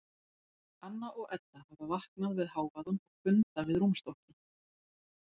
Anna og Edda hafa vaknað við hávaðann og funda við rúmstokkinn.